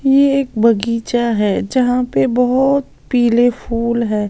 ये एक बगीचा है जहां पे बहुत पीले फूल हैं।